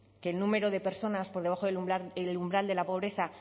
que el número de personas por debajo del umbral de la pobreza